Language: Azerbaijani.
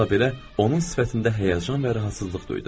Bununla belə, onun sifətində həyəcan və rahatsızlıq duydum.